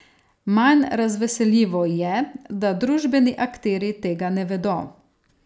Manj razveseljivo je, da družbeni akterji tega ne vedo.